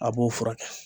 A b'o furakɛ